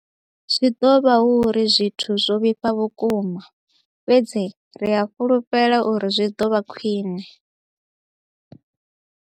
Zwi ḓo vha hu uri zwithu zwo vhifha vhukuma, fhedzi ri a fhulufhela uri zwi ḓo vha khwiṋe.